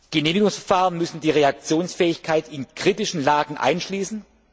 die Genehmigungsverfahren müssen die Reaktionsfähigkeit in kritischen Lagen einschließen.